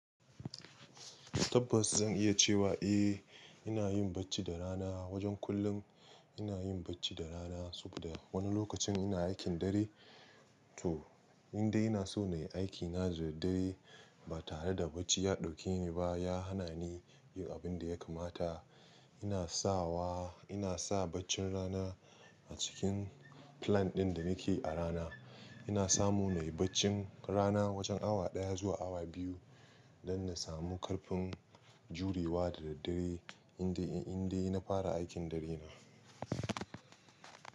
Tabbas zan iya cewa eh, ina yin bacci da rana. Wajen kullum ina yin bacci da rana saboda wani lokacin ina aikin dare. To, inda ina so na yi aikina da daddare ba tare da bacci ya dauke ni ba, ya hana ni yin abin da ya kamata. Ina sawa, ina sa baccin rana a cikin plan ɗin da nake yi a rana. Ina samu na yi baccin rana wajen awa daya zuwa awa biyu don na samu karfin jurewa da daddare inda, inda ina fara aikin dare na.